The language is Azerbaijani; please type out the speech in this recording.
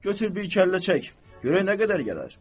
Götür bir kəllə çək, görək nə qədər gələr.